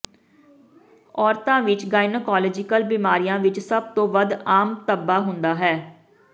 ਔਰਤਾਂ ਵਿਚ ਗੈਨਾਈਕੌਲੋਜੀਕਲ ਬਿਮਾਰੀਆਂ ਵਿਚ ਸਭ ਤੋਂ ਵੱਧ ਆਮ ਧੱਬਾ ਹੁੰਦਾ ਹੈ